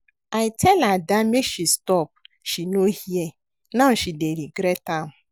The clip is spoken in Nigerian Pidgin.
I tell Ada make she stop she no hear now she dey regret am